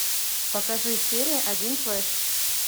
покажи серия один флеш